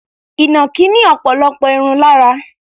Ìnàkí ní ọ̀pọ̀lọpọ̀ irun lára.